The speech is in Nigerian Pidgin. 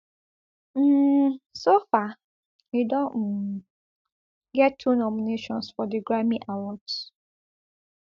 um so far e don um get two nominations for di grammy awards